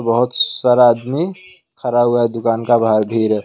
बहुत सारा आदमी खड़ा हुआ दुकान का बाहर भीर है।